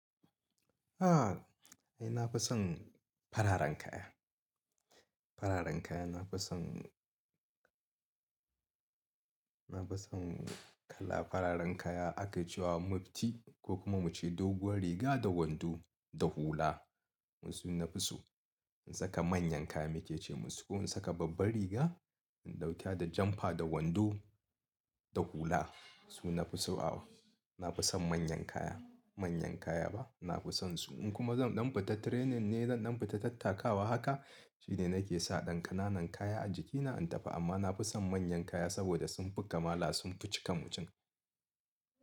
Ni na fi son fararen kaya. Fararen kaya na fi son, na fi son kala fararen kaya aka ce wa mufti ko kuma muce doguwar riga da wando da hula. Sune na fi so, in saka manyan kaya muke ce musu, ko in saka babbar riga ɗauke da jampa da wando da hula su na fi so. Aw, na fi son manyan kaya, manyan kaya ba na fi son su. In kuma zan ɗan fita training ne zan ɗan fita tattakawa haka shine nake sa ɗan ƙananan kaya a jikina in tafi amma na fi son manyan kaya saboda sun fi kamala sun fi cika mutum.